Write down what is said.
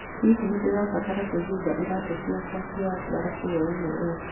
Hihi nĩ ndĩrabatara kwĩhumba iraatũ ciakwa cia mbarabu hwaĩ-inĩ ũyũ?